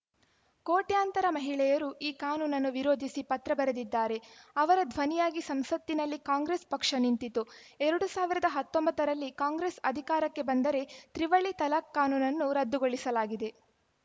ಕೋಟ್ಯಂತರ ಮಹಿಳೆಯರು ಈ ಕಾನೂನನ್ನು ವಿರೋಧಿಸಿ ಪತ್ರ ಬರೆದಿದ್ದಾರೆ ಅವರ ಧ್ವನಿಯಾಗಿ ಸಂಸತ್ತಿನಲ್ಲಿ ಕಾಂಗ್ರೆಸ್‌ ಪಕ್ಷ ನಿಂತಿತು ಎರಡ್ ಸಾವಿರದ ಹತ್ತೊಂಬತ್ತರಲ್ಲಿ ಕಾಂಗ್ರೆಸ್‌ ಅಧಿಕಾರಕ್ಕೆ ಬಂದರೆ ತ್ರಿವಳಿ ತಲಖ್‌ ಕಾನೂನನ್ನು ರದ್ದುಗೊಳಿಸಲಾಗಿದೆ